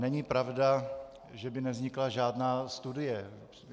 Není pravda, že by nevznikla žádná studie.